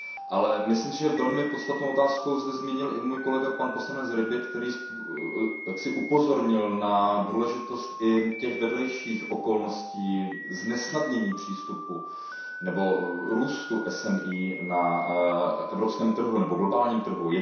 Ale myslím si, že velmi podstatnou otázku zde zmínil i můj kolega poslanec Rübig, který upozornil na důležitost i těch vedlejších okolností znesnadňujících přístup nebo růst MSP na evropském trhu nebo globálním trhu.